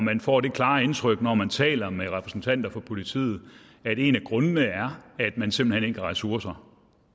men får det klare indtryk når man taler med repræsentanter for politiet at en af grundene er at man simpelt hen ikke har ressourcer